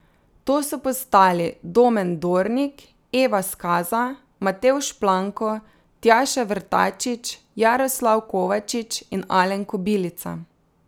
To so postali Domen Dornik, Eva Skaza, Matevž Planko, Tjaša Vrtačič, Jaroslav Kovačič in Alen Kobilica.